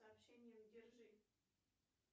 сообщением держи